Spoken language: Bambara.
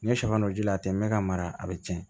N ye sɛgɛn dɔ ji la ten n bɛ ka mara a bɛ tiɲɛ